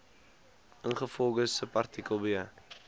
ingevolge subartikel b